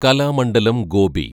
Kalamandalam Gopi